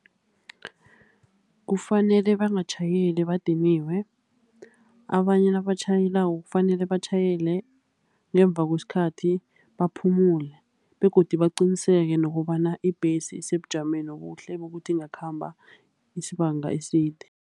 Kufanele bangatjhayeli badiniwe, abanye nabatjhayelako kufanele batjhayele ngemva kwesikhathi, baphumule. Begodu baqiniseke nokobana ibhesi isebujameni ubuhle bokuthi ingakhamba isibanga eside.